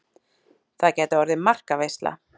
Það gæti orðið markaveisla.